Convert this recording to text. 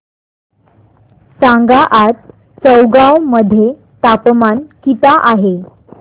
सांगा आज चौगाव मध्ये तापमान किता आहे